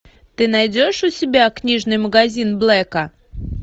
ты найдешь у себя книжный магазин блэка